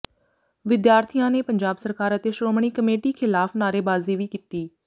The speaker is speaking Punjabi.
ਵਿਦਿਆਰਥੀਆਂ ਨੇ ਪੰਜਾਬ ਸਰਕਾਰ ਅਤੇ ਸ਼੍ਰੋਮਣੀ ਕਮੇਟੀ ਖਿਲਾਫ਼ ਨਾਅਰੇਬਾਜ਼ੀ ਵੀ ਕੀਤੀ